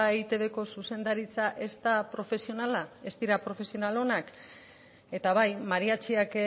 eitbko zuzendaritza ez da profesionala ez dira profesional onak eta bai mariatxiak